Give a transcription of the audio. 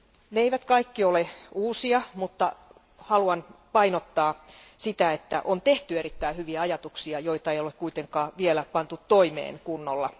Ne eivät kaikki ole uusia, mutta haluan painottaa sitä, että on tehty erittäin hyviä ajatuksia, joita ei ole kuitenkaan vielä pantu toimeen kunnolla.